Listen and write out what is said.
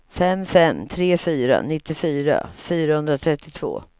fem fem tre fyra nittiofyra fyrahundratrettiotvå